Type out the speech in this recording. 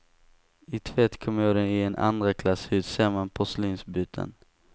I tvättkommoden i en andra klass hytt ser man porslinsbyttan.